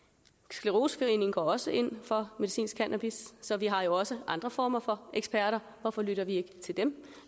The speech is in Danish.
scleroseforeningen går også ind for medicinsk cannabis så vi har jo også andre former for eksperter hvorfor lytter vi ikke til dem